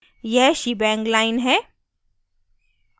यह shebang line है